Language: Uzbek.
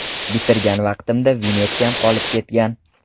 Bitirgan vaqtimda vinyetkam qolib ketgan.